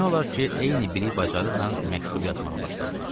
Demək olar ki, eyni bilik bacarıqla məktub yazmağa başladılar.